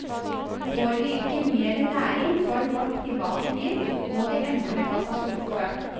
Får vi ikke mer næring for vårt private liv, må det ende med katastrofe.